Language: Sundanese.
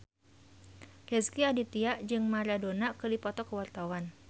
Rezky Aditya jeung Maradona keur dipoto ku wartawan